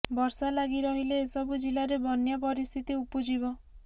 ବର୍ଷା ଲାଗି ରହିଲେ ଏସବୁ ଜିଲ୍ଲାରେ ବନ୍ୟା ପରିସ୍ଥିତି ଉପୁଜିବ